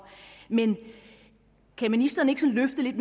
men kan ministeren ikke løfte lidt